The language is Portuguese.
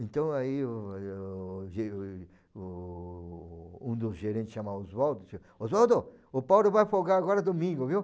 Então aí um o ge o... Um dos gerentes chama Oswaldo e diz Oswaldo, o Paulo vai folgar agora domingo, viu?